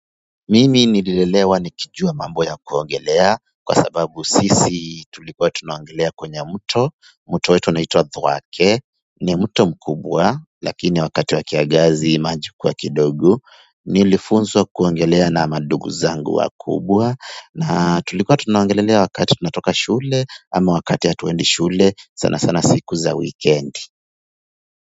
Mimi nililelewa ni kijua mambo ya kuogelea kwa sababu sisi tulikuwa tunaogelea kwenye mto mto wetu unaitwa Thwake. Ni mto mkubwa lakini wakati wa kiangazi maji hukuwa kidogo. Nilifunzwa kuogelea na mandugu zangu wakubwa na tulikuwa tunaongelelea wakati tunatoka shule ama wakati ya hatuendi shule sana sana siku za wikendi.